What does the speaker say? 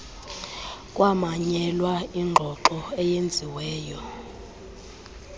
kwamanyelwa ingxoxo eyenziwe